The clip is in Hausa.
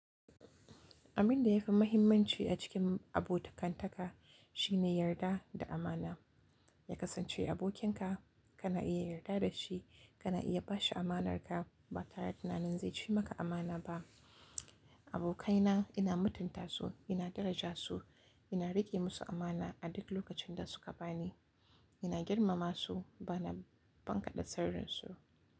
Abin da ya fi mahimmanci a cikin abotakantaka shine yarda da amana. Ya kasance abokinka, kana iya yarda da shi, kana iya ba shi amanarka ba tare da tunanin zai ci maka amana ba. Abokaina ina mutunta su, ina daraja su, ina riƙe musu amana a duk lokacin da suka ba ni, ina girmama su ba na bankada sirrinsu.